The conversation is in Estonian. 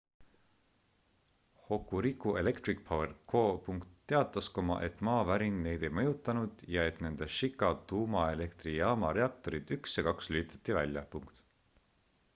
hokuriku electric power co teatas et maavärin neid ei mõjutanud ja et nende shika tuumaelektrijaama reaktorid 1 ja 2 lülitati välja